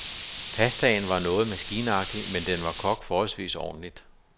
Pastaen var noget maskinagtig, men den var kogt forholdsvis ordentligt.